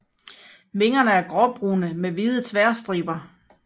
Vingerne er gråbrune med hvide tværstriber